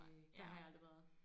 Ej der har jeg aldrig været